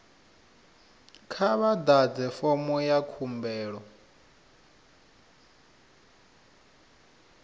kha vha ḓadze fomo ya khumbelo